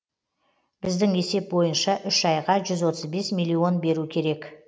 біздің есеп бойынша үш айға жүз отыз бес миллион беру керек